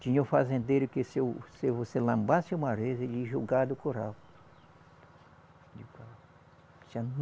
Tinha um fazendeiro que se o, se você lambasse uma vez, ele ia jogar do curral.